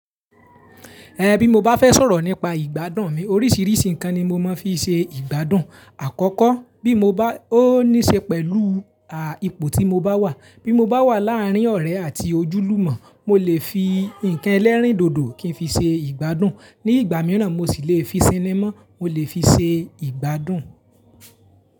Ẹ̀n bí mo bá fẹ́ sọ̀rọ̀ nípa ìgbádùn mi, oríṣìríṣí nǹkan ni mo máa ń fi ṣe ìgbádùn. Àkọ́kọ́ bí mo bá, ó níṣe pẹ̀lu, ipò tí mo bá wà. Bí mo bá wà láàrín ọ̀rẹ́ àti ojúlùmọ̀, mo lè fi nǹkan ẹlẹ́rìndòdò kí n fi ṣe ìgbádùn. Ní ìgbà mìíràn mo sì lè fi cinema, mo lè fi ṣe ìgbádùn.